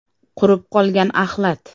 Qurib qolgan axlat.